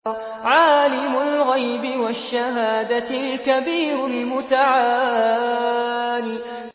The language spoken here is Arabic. عَالِمُ الْغَيْبِ وَالشَّهَادَةِ الْكَبِيرُ الْمُتَعَالِ